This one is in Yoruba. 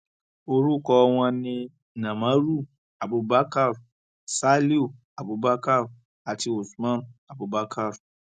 orúkọ wọn ni namaru abubakar saliu abubakar àti usman abubakar